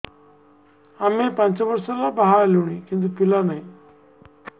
ଆମେ ପାଞ୍ଚ ବର୍ଷ ହେଲା ବାହା ହେଲୁଣି କିନ୍ତୁ ପିଲା ନାହିଁ